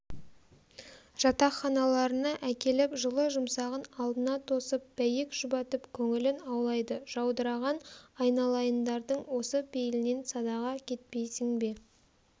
жатақханаларына әкеліп жылы-жұмсағын алдына тосып бәйек жұбатып көңілін аулайды жаудыраған айналайындардың осы пейілінен садаға кетпейсің бе